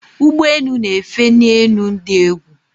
ụgbọ enu na efe ni enu di egwu